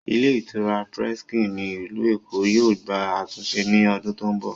Ilé ìtura Presken ní ilù Èkó yóò gbà àtúnse ní odún tó ń bọ̀